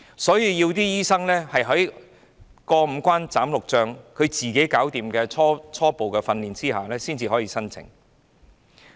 所以，醫生要"過五關斬六將"，自己完成初步訓練後才可以申請。